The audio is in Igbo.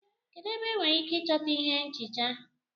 Kedu ebe enwere ike ịchọta ihé nchịcha?